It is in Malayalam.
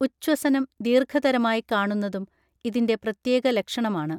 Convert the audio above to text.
ഉഛ്വസനം ദീർഘതരമായി കാണുന്നതും ഇതിന്റെ പ്രത്യേക ലക്ഷണമാണ്